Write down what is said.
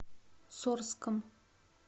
сорском